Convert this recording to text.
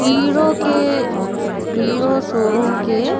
hero के Hero showroom के --